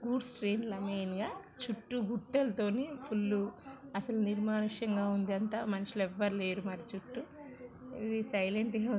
Goods train లన్ని అయిన చుట్టు గుట్టాల్‌ తోని ఫుల్‌ అసలు నిర్మాణషంగా వుంది. అంతా మనుష్యులు ఎవరు లేరు మరి చుట్టూ ఇవి సై--